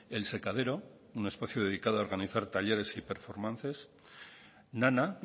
el sekadero un espacio dedicado a organizar talleres y performances nana